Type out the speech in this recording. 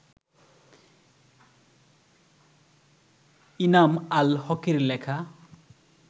ইনাম আল হকের লেখা